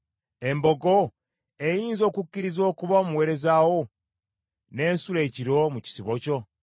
“Embogo eyinza okukkiriza okuba omuweereza wo, n’esula ekiro mu kisibo kyo?